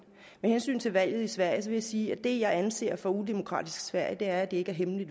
med hensyn til valget i sverige vil jeg sige at det jeg anser for udemokratisk i sverige er at det ikke er hemmelige